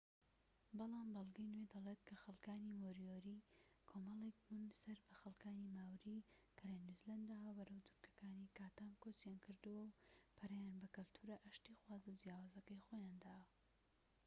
بەڵام بەلگەی نوێ دەڵێت کە خەلکانی مۆریۆری کۆمەڵێك بوون سەر بە خەلکانی ماوری کە لە نیوزیلەنداوە بەرەو دورگەکانی کاتام کۆچیان کردووە و پەرەیان بە کەلتورە ئاشتیخوازە جیاوازەکەی خۆیان داوە